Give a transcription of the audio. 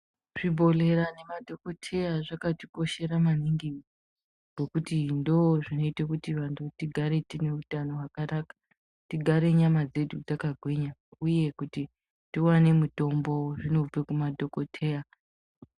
Zvi bhodhlera ne madhokoteya zvakati koshera maningi ngekuti ndo zvinoita kuti vantu tigare tine utano hwaka naka tigare nyama dzedu dzaka gwinya uye kuti tiwane mitombo zvinobve kuma dhokoteya.